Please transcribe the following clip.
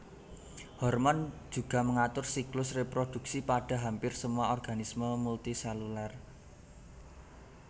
Hormon juga mengatur siklus reproduksi pada hampir semua organisme multiselular